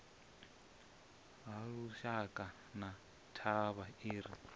halushaka na thavha i re